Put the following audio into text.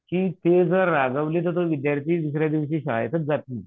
की ते जर रागावले तर तो विद्यार्थी दुसऱ्या दिवशी शाळेतच जात नाही.